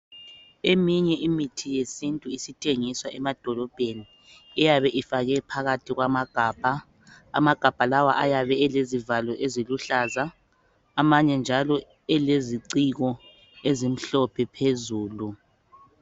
Eminye imithi yesintu isithengiswa emadolobheni iyabe ifakwe phakathi kwamagabha, amagabha lawa ayabe elezivalo eziluhlaza amanye njalo eleziciko ezimhlophe phezulu